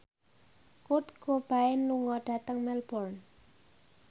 Kurt Cobain lunga dhateng Melbourne